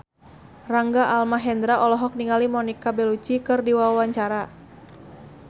Rangga Almahendra olohok ningali Monica Belluci keur diwawancara